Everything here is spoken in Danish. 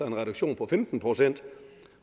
en reduktion på femten procent